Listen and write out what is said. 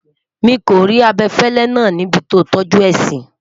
mí kò rí abefele nà ní ibì to tọju é si